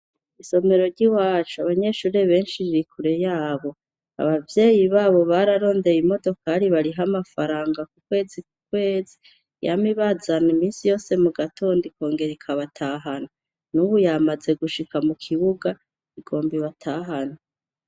Isomero ry'iwacu abanyeshure benshi ririkure yabo, abavyeyi babo bararondeye imodokari bariha amafaranga ku kwezi ku kwezi yama ibazana imisi yose mu gatondo ikongera ikabatahana, n'ubu yamaze gushika mu kibuga igomba ibatahane.